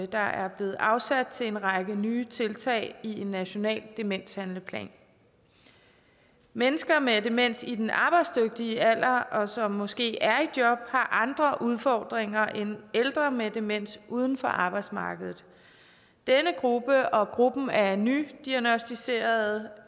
der er blevet afsat til en række nye tiltag i en national demenshandleplan mennesker med demens i den arbejdsdygtige alder og som måske er i job har andre udfordringer end ældre med demens uden for arbejdsmarkedet denne gruppe og gruppen af nydiagnosticerede